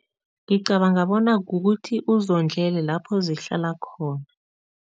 Ngicabanga bona kukuthi uzondlele lapho zihlala khona.